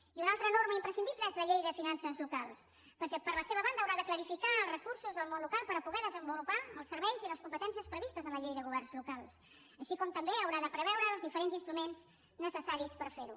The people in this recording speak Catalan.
i una altra norma imprescindible és la llei de finances locals perquè per la seva banda haurà de clarificar els recursos del món local per poder desenvolupar els serveis i les competències previstes en la llei de governs locals així com també haurà de preveure els diferents instruments necessaris per fer ho